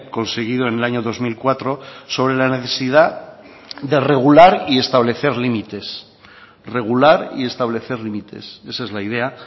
conseguido en el año dos mil cuatro sobre la necesidad de regular y establecer límites regular y establecer límites esa es la idea